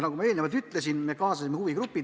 Nagu ma enne ütlesin, me kaasasime huvigrupid.